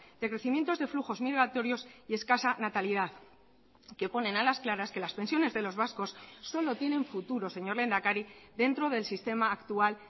decrecimientos de flujos migratorios y escasa natalidad que ponen a las claras que las pensiones de los vascos solo tienen futuro señor lehendakari dentro del sistema actual